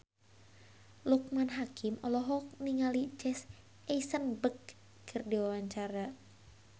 Loekman Hakim olohok ningali Jesse Eisenberg keur diwawancara